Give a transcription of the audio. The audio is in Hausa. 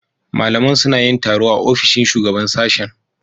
Malaman suna yin taro a ofishin Shugaban Sashen.